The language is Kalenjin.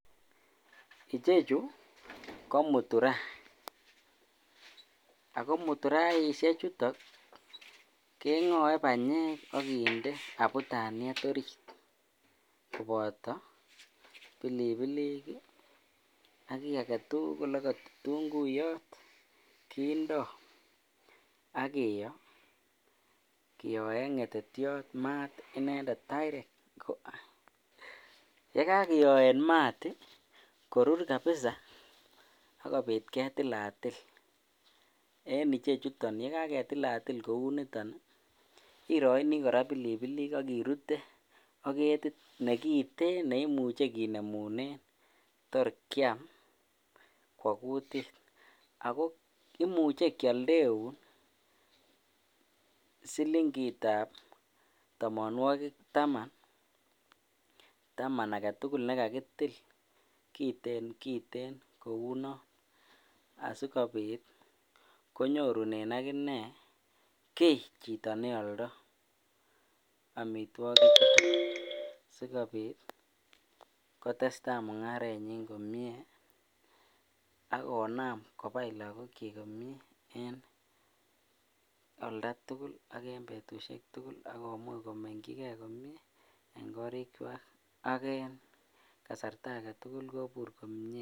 Ichechu ko muturaa, ak ko muturaishe chuton kengoe banyek ak kinde abutaniet oriit koboto pilipilik ak kii aketukul okot itunguyot kindo ak kiyoo kiyoen ngetetiot inendet maat direct, yekakiyoen maat korur kabisaa akobit ketilatil en ichechuton, yekaketilatil kouniton iroini kora pilipilik ak irute ak ketit nekiten neimuje kinemunen tor kiam kwoo kutit ak ko imuche kioldeun silingitab tomonwokik taman, taman aketukul nekakitil kiten kiten kouu non asikobit konyorunen akinee kii chito neoldo amitwokichuton sikobit kotesta mung'arenyin komnyee ak konam kobai lakokyik komnye en oldatukul ak en betushek tukul ak komuch komengyike komnye en korikwak ak en kasarta aketukul kobur komnye.